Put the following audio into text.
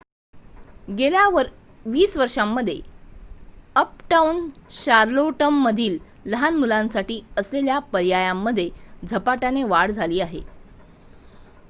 गेल्या २० वर्षांमध्ये अपटाउन शार्लोटमधील लहान मुलांसाठी असलेल्या पर्यायांमध्ये झपाट्याने वाढ झाली आहे